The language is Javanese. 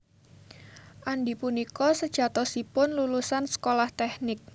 Andy punika sejatosipun lulusan sekolah tèknik